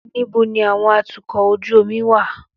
Níbo ni àwọn atukọ̀ ojú omi wà?